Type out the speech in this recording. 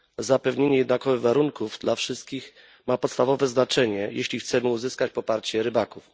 Zapewnienie jednakowych warunków dla wszystkich ma podstawowe znaczenie, jeśli chcemy uzyskać poparcie rybaków.